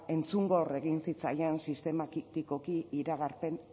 entzungor egin zitzaien sistematikoki iragarpen